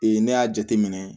ne y'a jate minɛ